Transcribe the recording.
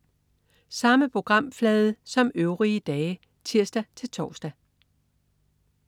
Samme programflade som øvrige dage (tirs-tors)